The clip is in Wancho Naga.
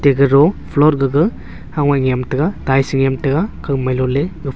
tekero floor gaga ham nyem te ga tiles nyem tai ga kak mai lo ley.